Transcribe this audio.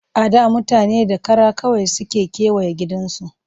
A da mutane da kara kawai suke kewaye gidajensu